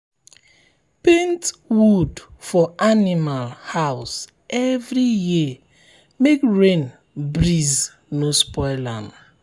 paint wood for animal house every year make rain breeze no spoil am.